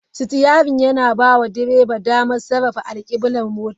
Sitiyarin yana bawa direba damar sarrafa alkiblar motar.